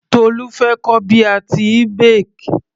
Tolu fẹ́ kọ́ bí a tíì bake.